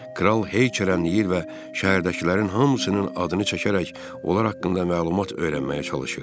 Kral heykələnliyir və şəhərdəkilərin hamısının adını çəkərək onlar haqqında məlumat öyrənməyə çalışır.